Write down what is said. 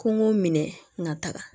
Kɔngɔ minɛ ka taga